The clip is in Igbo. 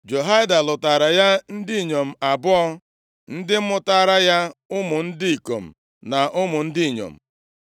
Jehoiada lụtaara ya ndị inyom abụọ, ndị mụtaara ya ụmụ ndị ikom na ụmụ ndị inyom.